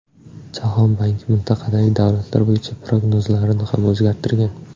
Jahon banki mintaqadagi davlatlar bo‘yicha prognozlarini ham o‘zgartirgan.